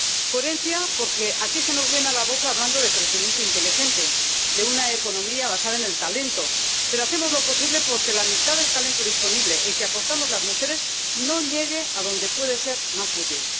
Coherencia, porque aquí se nos llena la boca hablando de crecimiento inteligente, de una economía basada en el talento, pero hacemos lo posible por que la mitad del talento disponible, el que aportamos las mujeres, no llegue a donde puede ser más útil.